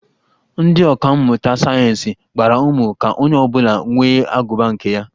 Ndị ọka mmụta sayeensị gbara ume ka onye ọ bụla nwee agụba nke ya